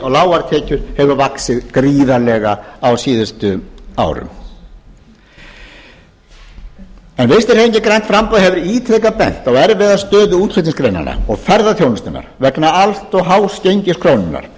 lágar tekjur hefur vaxið gríðarlega á síðustu árum vinstri hreyfingin grænt framboð hefur ítrekað bent á erfiða stöðu útflutningsgreinanna og ferðaþjónustunnar vegna allt of hás gengis krónunnar og